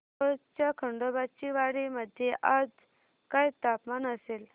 मोहोळच्या खंडोबाची वाडी मध्ये आज काय तापमान असेल